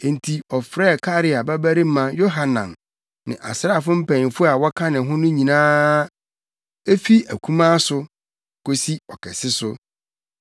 Enti ɔfrɛɛ Karea babarima Yohanan ne asraafo mpanyimfo a wɔka ne ho ne nnipa no nyinaa; efi akumaa so kosi ɔkɛse so.